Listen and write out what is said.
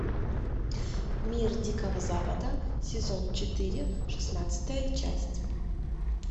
мир дикого запада сезон четыре шестнадцатая часть